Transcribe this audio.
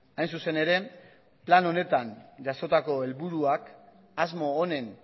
hain zuzen ere plan honetan jasotako helburuak asmo honen